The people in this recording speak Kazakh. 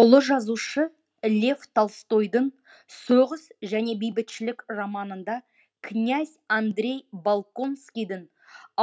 ұлы жазушы лев толстойдың соғыс және бейбітшілік романында князь андрей балконскийдің